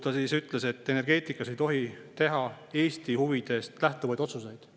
Ta ütles, et energeetikas ei tohi teha Eesti huvidest lähtuvaid otsuseid.